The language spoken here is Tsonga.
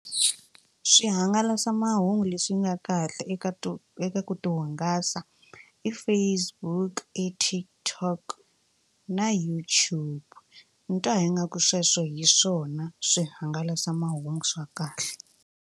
Swihangalasamahungu leswi nga kahle eka to eka ku tihungasa i Facebook, i TikTok na YouTube ni twa ingaku sweswo hi swona swihangalasamahungu swa kahle.